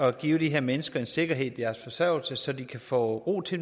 at give de her mennesker en sikkerhed i deres forsørgelse så de kan få ro til